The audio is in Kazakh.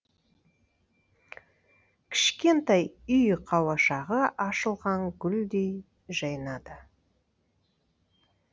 кішкентай үй қауашағы ашылған гүлдей жайнады